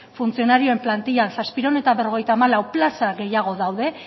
funtzionarioen plantilan zazpiehun eta berrogeita hamalau plaza gehiago daude